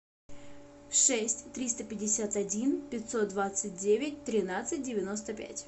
шесть триста пятьдесят один пятьсот двадцать девять тринадцать девяносто пять